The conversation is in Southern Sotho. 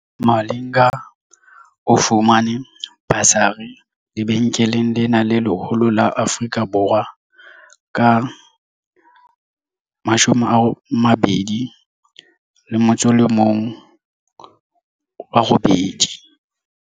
Malinga o fumane basari lebenkeleng lena le leholo la Afrika Borwa ka 2018.